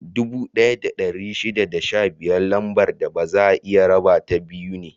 Dubu ɗaya da ɗari shida da biyar Lambar da baza a iya rabata biyu ne.